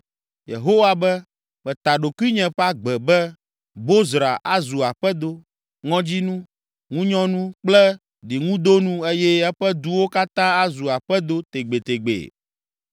Yehowa be, “Meta ɖokuinye ƒe agbe be, Bozra azu aƒedo, ŋɔdzinu, ŋunyɔnu kple ɖiŋudonu eye eƒe duwo katã azu aƒedo tegbetegbee.”